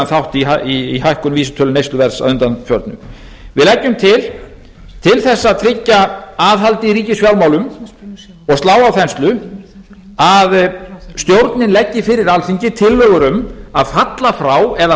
þátt í hækkun vísitölu neysluverðs að undanförnu við leggjum til til þess að tryggja aðhald í ríkisfjármálum og slá á þenslu að stjórnin leggi fyrir alþingi tillögur um að falla frá eða